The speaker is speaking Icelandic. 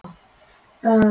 En hvað segir launafólk?